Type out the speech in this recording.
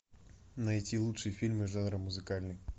найти лучшие фильмы жанра музыкальный